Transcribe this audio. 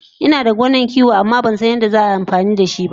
Inada gonan kiwo amma Bansan yadda za a yi amfani dashiba